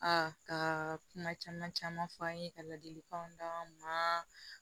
A ka kuma caman caman fɔ an ye ka ladilikanw d'an ma